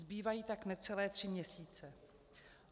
Zbývají tak necelé tři měsíce.